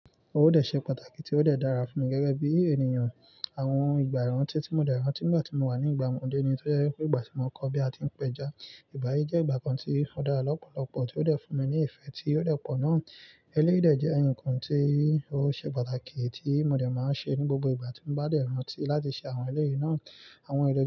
Ó dẹ̀ ṣe pàtàkì tí ó dẹ̀ dára fún mi gẹ́gẹ́ bí ènìyàn. Àwọn ìgbà ìrántí tí mo dẹ̀ rántí nígbà tí mo wà ní ìgbà ọmọdé ni tó jẹ́ wípé ìgbà tí mo kọ́ bí a ti ń péjá. Ìgbà yìí jẹ́ ìgbà kan tí ó dára lọ́pọ̀lọpọ̀ tí ó dẹ̀ fún mi ní ìfẹ́ tí ó dẹ̀ pọ̀ ná. Eléyìí dẹ̀ jẹ́ ǹkan tí ó ṣe pàtàkì tí mo dẹ̀ máa ń ṣe ní gbogbo ìgbà tí mo bá dẹ̀ rántí láti ṣe àwọn eléyìí náà. Àwọn eléyìí.